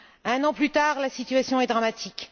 Un an plus tard, la situation est dramatique.